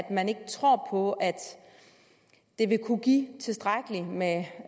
at man ikke tror på at det vil kunne give tilstrækkeligt med